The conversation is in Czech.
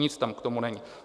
Nic tam k tomu není.